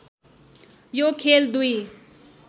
यो खेल दुई